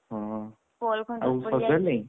ଅହ ଆଉ ସଜାଡି ଲଇଁ?